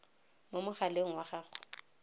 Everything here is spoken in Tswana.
mo mogaleng wa gago wa